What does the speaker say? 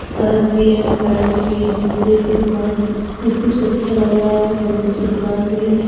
शरट भी हैं पैंट भी जूते की दुकान सब कुछ अच्छा लग रहा है। बहुत अच्छी दुकान भी है।